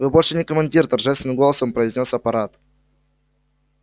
вы больше не командир торжественным голосом произнёс апорат